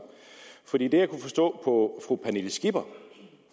for det jeg kunne forstå på fru pernille skipper